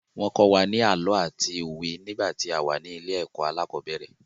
Wọ́n kọ́ wa ní àlọ́ àti òwe nígbà tí a wà ní ilé ẹ̀kọ́ alẹ́kọ̀ọ́bẹ̀rẹ̀.